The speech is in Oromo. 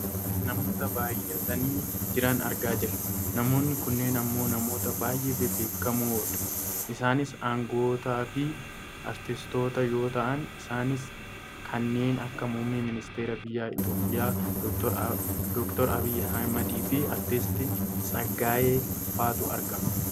Namoota baayyatanii jiran argaa jirra. Namoonni kunneen ammoo namoota baayyee bebbeekkamoodha. Isaanis anga'ootaafi aartistoota yoo ta'an isaanis kanneen akka muummee ministeera biyya Itoopiyaa Dr Abiyyi Ahmediifi aartisti Tsaggaayee faatu argama.